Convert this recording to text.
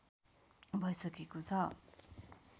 भैसकेको छ